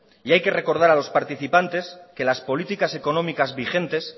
y hay que recordar a los participantes que las políticas económicas vigentes